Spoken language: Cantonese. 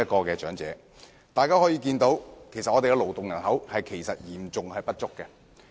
由此可見，香港的勞動人口嚴重不足。